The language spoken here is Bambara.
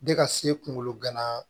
De ka se kungolo gana